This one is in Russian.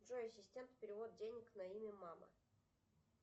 джой ассистент перевод денег на имя мама